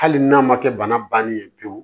Hali n'a ma kɛ bana bannen ye pewu